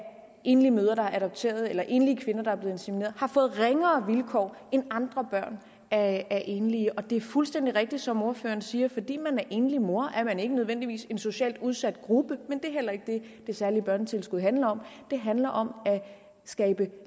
enlige mødre der har adopteret eller enlige kvinder der er blevet insemineret har fået ringere vilkår end andre børn af enlige det er fuldstændig rigtigt som ordføreren siger at fordi man er enlig mor er man ikke nødvendigvis en socialt udsat gruppe men det er heller ikke det det særlige børnetilskud handler om det handler om at skabe